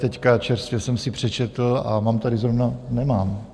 Teď čerstvě jsem si přečetl a mám tady zrovna - nemám.